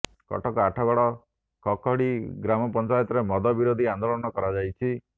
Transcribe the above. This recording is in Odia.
କଟକ ଆଠଗଡ କଖଡି ଗ୍ରାମପଞ୍ଚାୟରେ ମଦ ବିରୋଧୀ ଆନ୍ଦୋଳନ କରାଯାଇଛି